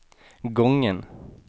gången